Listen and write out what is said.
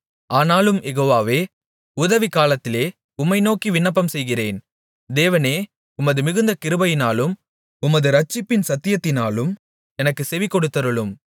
ஆனாலும் யெகோவாவே உதவிக்காலத்திலே உம்மை நோக்கி விண்ணப்பம்செய்கிறேன் தேவனே உமது மிகுந்த கிருபையினாலும் உமது இரட்சிப்பின் சத்தியத்தினாலும் எனக்குச் செவிகொடுத்தருளும்